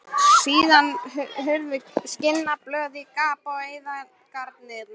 Síðan hurfu skinnblöðin í gap eyðingarinnar.